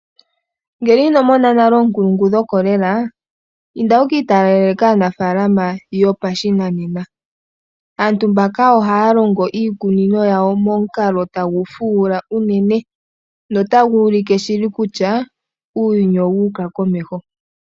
Ngele inomona nale oonkulungu dhokolela, inda wukiitalele kaanafalama yopa shinanena, aantu mbaka ohaalongo iikunino yawo momukalo tagufuula unene, nota guulike shili kutya uuyuni owuuka komeho.